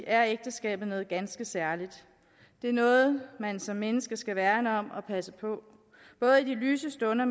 er ægteskabet noget ganske særligt det er noget man som menneske skal værne om og passe på både i de lyse stunder